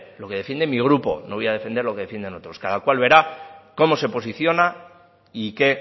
lo que defiende mi grupo no voy a defender lo que defienden otros cada cual verá cómo se posiciona y que